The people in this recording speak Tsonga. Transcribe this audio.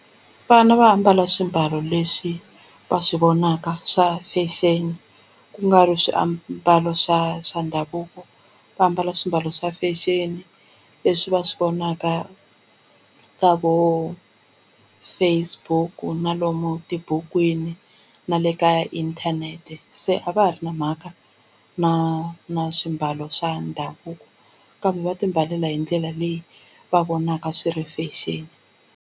Vana va ambala swimbalo leswi va swi vonaka swa fashion ku nga ri swiambalo swa swa ndhavuko va ambala swiambalo swa fashion leswi va swi vonaka na vo Facebook na lomu tibukwini na le ka inthanete se a va ha ri na mhaka na na swimbalo swa ndhavuko kambe va timbalela hi ndlela leyi va vonaka swi ri fashion.